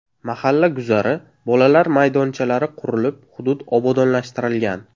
Mahalla guzari, bolalar maydonchalari qurilib, hudud obodonlashtirilgan.